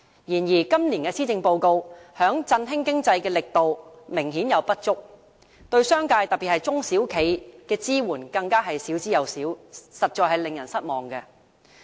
然而，今年的施政報告在振興經濟的力度明顯不足，對商界，特別是中小企的支援更少之有少，實在令人失望。